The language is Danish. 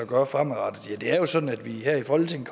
gøre fremadrettet det er jo sådan at vi her i folketinget